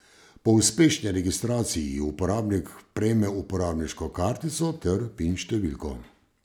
Po uspešni registraciji uporabnik prejme uporabniško kartico ter Pin številko.